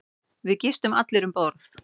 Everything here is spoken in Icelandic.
Við gistum allir um borð.